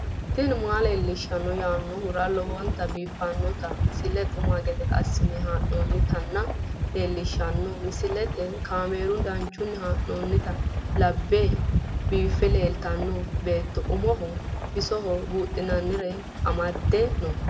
tini maa leelishshanno yaannohura lowonta biiffanota misile xuma gede assine haa'noonnita leellishshanno misileeti kaameru danchunni haa'noonni lamboe biiffe leeeltanno beetto umohono bisohono buudhinannire amadde no